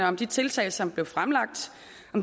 om de tiltag som blev fremlagt